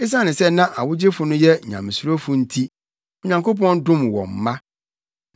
Esiane sɛ na awogyefo no yɛ nyamesurofo nti, Onyankopɔn dom wɔn mma.